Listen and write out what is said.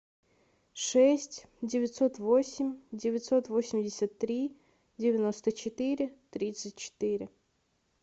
шесть девятьсот восемь девятьсот восемьдесят три девяносто четыре тридцать четыре